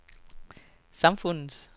samfundets